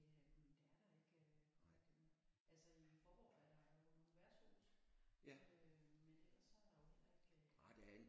Øh det er der ikke rigtig mere altså i Faaborg er der nogle værtshuse øh men ellers så er der jo heller ikke øh